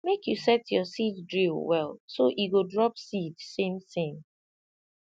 make you set your seed drill well so e go drop seed samesame